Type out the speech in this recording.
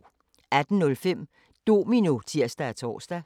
18:05: Domino (tir-tor)